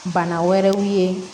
Bana wɛrɛw ye